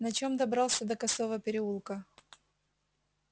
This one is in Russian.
на чем добрался до косого переулка